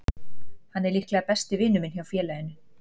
Hann er líklega besti vinur minn hjá félaginu.